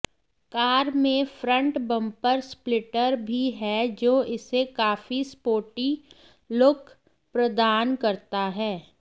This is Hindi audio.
कार में फ्रंट बंपर स्प्लिटर भी है जो इसे काफी स्पोर्टी लुक प्रदान करता है